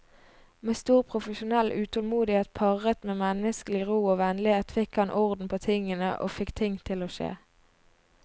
Med stor profesjonell utålmodighet parret med menneskelig ro og vennlighet fikk han orden på tingene og fikk ting til å skje.